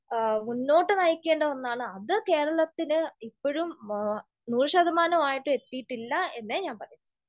മുന്നോട്ട് നയിക്കേണ്ട ഒന്നാണ്. അത് കേരളത്തിന് ഇപ്പൊഴും നൂറ് ശതമാനം ആയിട്ടും എത്തീട്ടില്ല എന്നെ ഞാൻ പറയു.